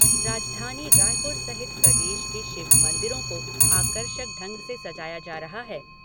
राजधानी रायपुर सहित प्रदेश के शिव मंदिरों को आकर्षक ढंग से सजाया जा रहा है।